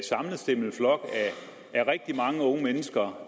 sammenstimlet flok af rigtig mange unge mennesker